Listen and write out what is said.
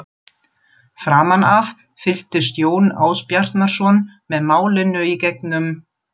Framan af fylgdist Jón Ásbjarnarson með málinu í gegnum